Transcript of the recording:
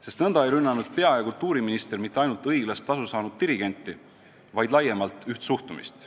Sest nõnda ei rünnanud pea- ja kultuuriminister mitte ainult õiglast tasu saanud dirigenti, vaid laiemalt teatud laadi suhtumist.